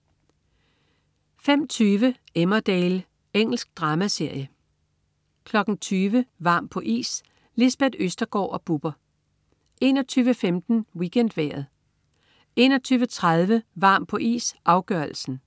05.20 Emmerdale. Engelsk dramaserie 20.00 Varm på is. Lisbeth Østergaard og Bubber 21.15 WeekendVejret 21.30 Varm på is, afgørelsen